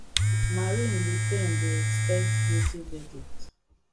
marine le pen dey expect guilty verdict